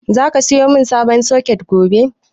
Zaka sayo min sabon soket gobe?